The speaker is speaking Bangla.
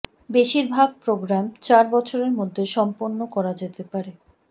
বেশিরভাগ প্রোগ্রাম চার বছরের মধ্যে সম্পন্ন করা যেতে পারে